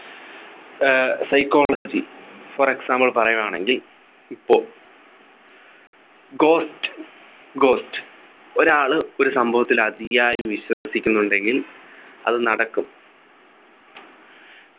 uh psychology for example പറയുവാണെങ്കിൽ ഇപ്പോ Ghost Ghost ഒരാള് ഒരു സംഭവത്തിൽ അതിയായി വിശ്വസിക്കുന്നുണ്ടെങ്കിൽ അത് നടക്കും